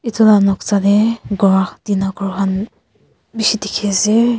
etu la noksa te ghor tina ghor khan bishi dekhi ase.